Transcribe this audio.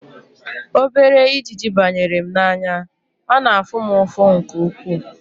Obere ijiji banyere m n'anya, ọ na-afụ m ụfụ nke ukwuu